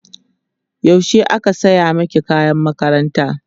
yaushe aka saya maki kayan makaranta?